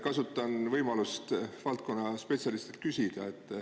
Kasutan võimalust küsida spetsialistilt.